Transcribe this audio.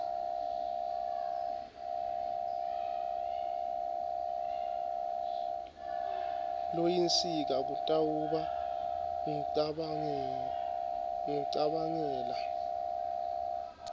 loyinsika kutawuba kucabangela